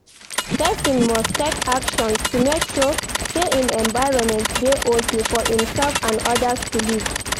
Persin must take actions to make sure say im environment de okay for imself and others to live